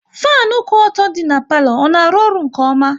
Fanu kwụ ọtọ dị n'palo, ọ na arụ ọrụ nke ọma?